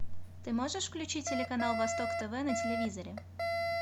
ты можешь включить телеканал восток тв на телевизоре